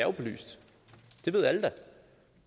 er belyst det ved alle da